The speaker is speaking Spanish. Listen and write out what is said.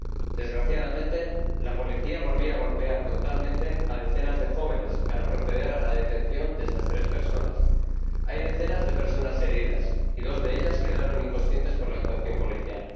Desgraciadamente, la policía volvió a golpear brutalmente a decenas de jóvenes para proceder a la detención de esas tres personas. Hay decenas de personas heridas y dos de ellas quedaron inconscientes por la actuación policial.